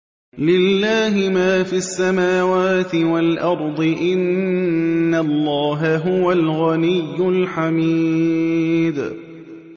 لِلَّهِ مَا فِي السَّمَاوَاتِ وَالْأَرْضِ ۚ إِنَّ اللَّهَ هُوَ الْغَنِيُّ الْحَمِيدُ